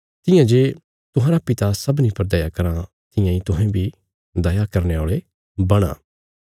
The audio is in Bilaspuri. तियां जे तुहांरा पिता सबनीं पर दया कराँ तियां इ तुहें बी दया करने औल़े बणा